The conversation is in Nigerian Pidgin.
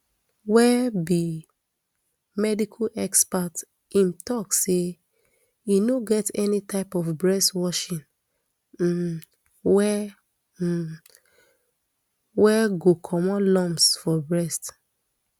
wey be medical expert im tok say e no get any type of breast washing um wey um wey go comot lumps for breast